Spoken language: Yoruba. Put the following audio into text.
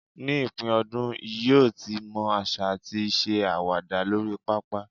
ní ipin ọdún, yíò tí mo asa ati se awada lori papa